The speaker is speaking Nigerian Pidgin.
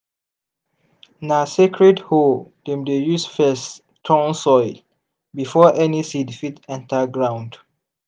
na sacred hoe dem dey use first turn soil before any seed fit enter ground.